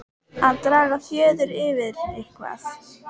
Að draga fjöður yfir eitthvað